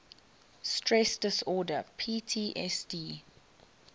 stress disorder ptsd